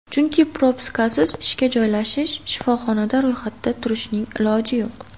Chunki propiskasiz ishga joylashish, shifoxonada ro‘yxatda turishning iloji yo‘q.